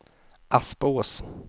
Aspås